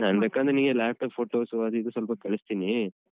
ನಾ ಬೇಕಾದ್ರೆ ನಿಂಗೆ laptop photos ಸು ಅದು ಇದು ಸ್ವಲ್ಪ ಕಳಿಸ್ತಿನೀ.